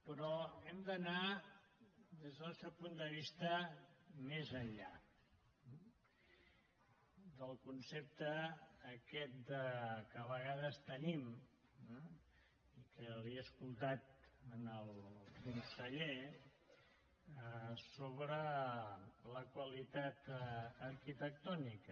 però hem d’anar des del nostre punt de vista més enllà del concepte aquest que a vegades tenim eh i que li he escoltat al conseller sobre la qualitat arquitectònica